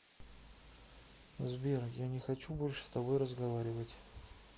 сбер я не хочу больше с тобой разговаривать